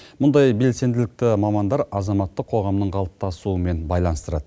бұндай белсенділікті мамандар азаматтық қоғамның қалыптасуымен байланыстырады